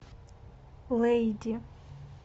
лейди